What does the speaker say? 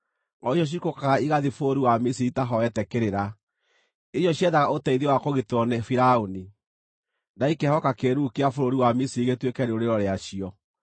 o icio ciikũrũkaga igathiĩ bũrũri wa Misiri itaahoete kĩrĩra; icio ciethaga ũteithio wa kũgitĩrwo nĩ Firaũni, na ikehoka kĩĩruru kĩa bũrũri wa Misiri gĩtuĩke rĩũrĩro rĩacio.